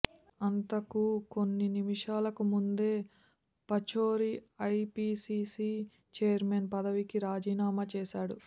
అంతకు కొన్ని నిమిషాలకు ముందే పచౌరీ ఐపిసిసి చైర్మన్ పదవికి రాజీనామా చేశాడు